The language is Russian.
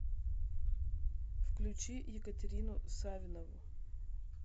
включи екатерину савинову